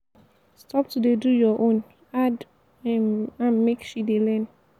stop to dey do your own add um am make she dey learn.